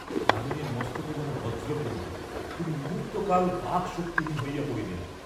যামিনীর মস্তকে যেন বজ্র পড়িল, তিনি মুহূর্ত্তকাল বাক্শক্তিহীন হইয়া পড়িলেন।